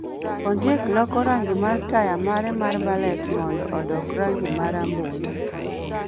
Ondiek loko rangi mar taya mare mar ballet mondo odok rangi ma rambulu